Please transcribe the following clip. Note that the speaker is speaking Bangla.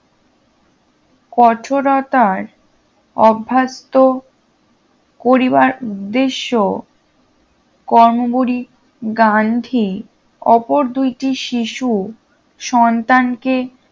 কঠোরতার অভ্যাস্ত করিবার উদ্দেশ্য কংবুড়ি গান্ধী ওপর দুইটি শিশু সন্তানকে